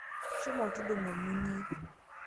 Shomo tudungo lmunyei